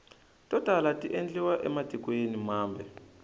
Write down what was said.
to tala tiendliwa ematikweni mambe